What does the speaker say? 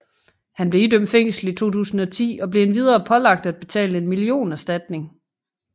Han blev idømt fængsel i 2010 og blev endvidere pålagt at betale en millionerstatning